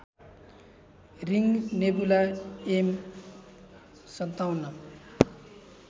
ring nebula M ५७